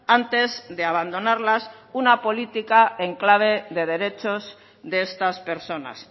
antes de abandonarlas una política en clave de derechos de estas personas